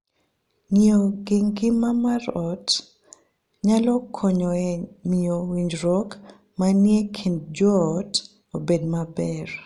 Ng'iyo gi ngima mar ot nyalo konyo e miyo winjruok manie kind joot obed maber.